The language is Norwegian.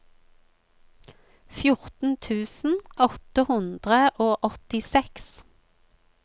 fjorten tusen åtte hundre og åttiseks